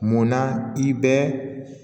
Munna i bɛ